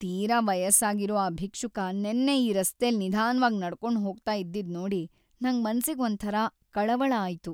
ತೀರಾ ವಯಸ್ಸಾಗಿರೋ ಆ ಭಿಕ್ಷುಕ ನೆನ್ನೆ ಈ ರಸ್ತೆಲ್ ನಿಧಾನ್ವಾಗ್ ನಡ್ಕೊಂಡ್ ಹೋಗ್ತಾ ಇದ್ದಿದ್ದ್‌ ನೋಡಿ‌ ನಂಗ್ ಮನ್ಸಿಗ್‌ ಒಂಥರ ಕಳವಳ ಆಯ್ತು.